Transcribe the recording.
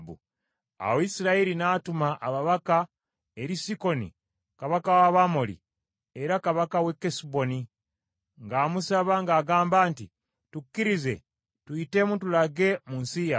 “ ‘Awo Isirayiri n’atuma ababaka eri Sikoni kabaka w’Abamoli era kabaka w’e Kesuboni, ng’amusaba ng’agamba nti, Tukkirize tuyitemu tulage mu nsi yaffe.